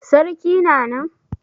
Sarki na nan?